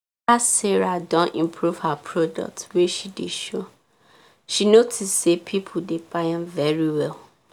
after sarah don improve her products wey she dey show she notice say people dey buy am very well